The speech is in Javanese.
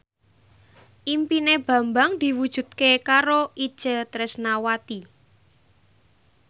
impine Bambang diwujudke karo Itje Tresnawati